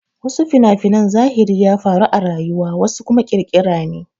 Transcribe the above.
Wasu fina-finan zahiri ya faru a rayuwa wasu kuma ƙirƙira ne.